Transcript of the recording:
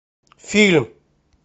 фильм